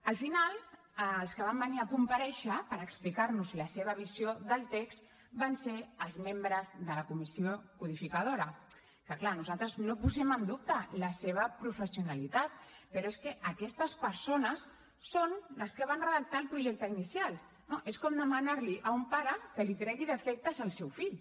al final els que van venir a comparèixer per explicar nos la seva visió del text van ser els membres de la comissió codificadora que és clar nosaltres no posem en dubte la seva professionalitat però és que aquestes persones són les que van redactar el projecte inicial no és com demanar li a un pare que li tregui defectes al seu fill